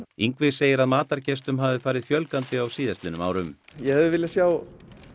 Ingvi segir að matargestum hafi farið fjölgandi á síðastliðnum árum ég hefði viljað sjá